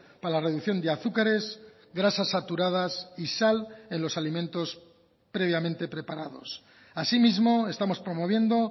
para la reducción de azúcares grasas saturadas y sal en los alimentos previamente preparados asimismo estamos promoviendo